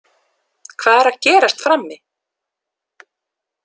Hvað er að gerast frammi?